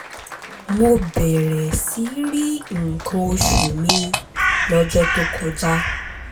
mo bẹ̀rẹ̀ sí í rí nǹkan oṣù mi lọ́jọ́ tó kọjá